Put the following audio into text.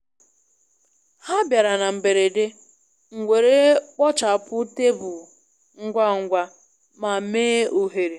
Ha bịara na mberede, m were kpochapụ tebụl ngwa ngwa ma mee ohere.